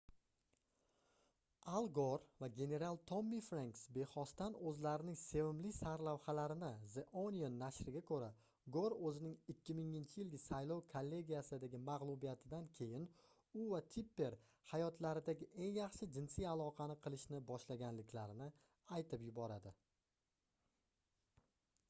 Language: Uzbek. al gor va general tommi frenks bexosdan o'zlarining sevimli sarlavhalarini the onion nashriga ko'ra gor o'zining 2000-yilgi saylov kollegiyasidagi mag'lubiyatidan keyin u va tipper hayotlaridagi eng yaxshi jinsiy aloqani qilishni boshlaganliklarini aytib yuboradi